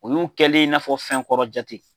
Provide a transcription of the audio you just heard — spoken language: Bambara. Olu kɛli in 'a fɔ fɛn kɔrɔ jate